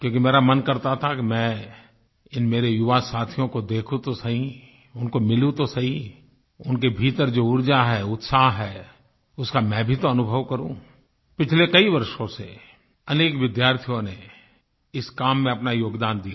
क्योंकि मेरा मन करता था कि मैं इन मेरे युवा साथियों को देखूं तो सही उनको मिलूँ तो सही उनके भीतर जो ऊर्जा है उत्साह है उसका मैं भी तो अनुभव करूँ पिछले कई वर्षों से अनेक विद्यार्थियों ने इस काम में अपना योगदान दिया